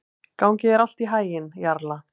Gangi þér allt í haginn, Jarla.